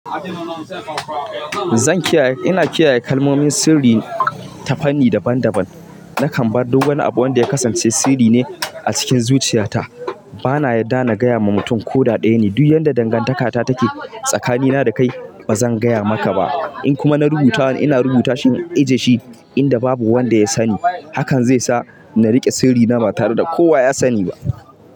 Zan kiyaye, ina kiyaye kalmomin sirri ta fanni daban daban. Nakan bar duk wani abu wanda ya kasance sirri ne a cikin zuciyata. Bana yarda na gaya ma mutum ko da ɗaya ne. Duk yadda dangantaka ta take tsakanina da kai ba zan gaya maka ba. In kuma na rubutawa ne, ina rubuta shi in ajiye shi inda babu wanda ya sani. Hakan zai sa na riƙe sirri na ba tare da kowa ya sani ba.